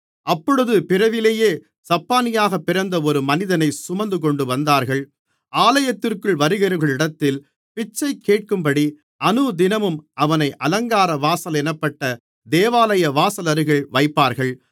அப்பொழுது பிறவியிலேயே சப்பாணியாகப் பிறந்த ஒரு மனிதனை சுமந்துகொண்டுவந்தார்கள் ஆலயத்திற்குள் வருகிறவர்களிடத்தில் பிச்சைகேட்கும்படி அனுதினமும் அவனை அலங்காரவாசல் என்னப்பட்ட தேவாலய வாசலருகில் வைப்பார்கள்